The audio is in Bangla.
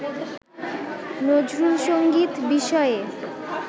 নজরুলসংগীত বিষয়ে